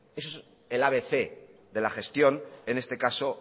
eso es el abc de la gestión en este caso